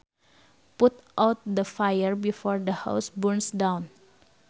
Put out the fire before the house burns down